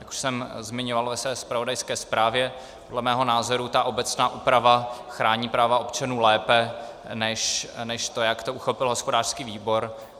Jak už jsem zmiňoval ve své zpravodajské zprávě, dle mého názoru ta obecná úprava chrání práva občanů lépe než to, jak to uchopil hospodářský výbor.